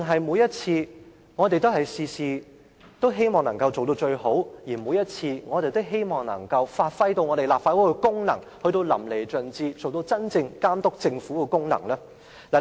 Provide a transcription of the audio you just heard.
還是我們凡事都想做到最好，每次都希望把立法會的功能發揮到淋漓盡致，達到真正監督政府的目的呢？